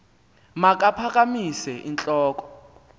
makaphakamise int loko